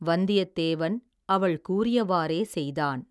வந்தியத்தேவன், அவள் கூறியவாறே செய்தான்.